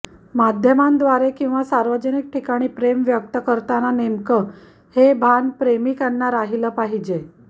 माध्यमाद्वारे किंवा सार्वजनिक ठिकाणी प्रेम व्यक्त करताना नेमकं हे भान प्रेमिकांना राहिलं पाहिजे